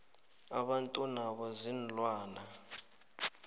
abantu nabo ziinlwana